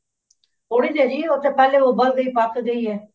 ਥੋੜੀ ਦੇਰ ਹੀ ਉਹ ਤੇ ਪਹਿਲੇ ਉਬਲਦੇ ਹੀ ਪੱਕ ਦੀ ਹੈ